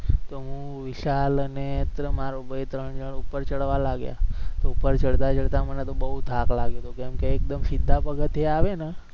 તો હુ વિશાલ અને મારો ભાઈ ત્રણ જણ ઉપર ચડવા લાગ્યા ઉપર ચડતા ચડતા મને તો બહુ થાક લાગી તો કેમકે એકદમ સીધા પગથીયા આવે ને